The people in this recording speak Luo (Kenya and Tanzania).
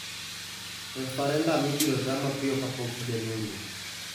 Referendum ibiro taa mapiyo kapok igani orumo